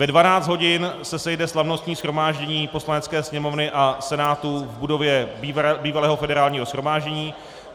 Ve 12 hodin se sejde slavnostní shromáždění Poslanecké sněmovny a Senátu v budově bývalého Federálního shromáždění.